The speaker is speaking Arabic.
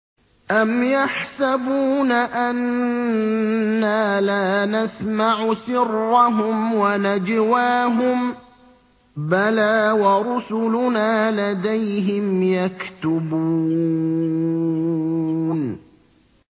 أَمْ يَحْسَبُونَ أَنَّا لَا نَسْمَعُ سِرَّهُمْ وَنَجْوَاهُم ۚ بَلَىٰ وَرُسُلُنَا لَدَيْهِمْ يَكْتُبُونَ